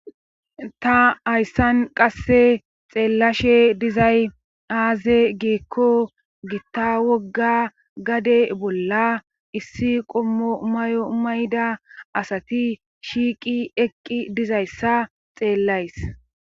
Ta hayssan qasse xeellashe dizay aaze geekko gitta wogga gade bolla issi qommo mayo mayda asati shiiqi eqqi dizayssa xeellays.